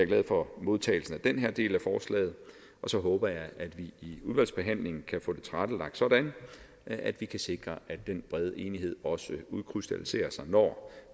glad for modtagelsen af den her del af forslaget og så håber jeg at vi i udvalgsbehandlingen kan få det tilrettelagt sådan at vi kan sikre at den brede enighed også udkrystalliserer sig når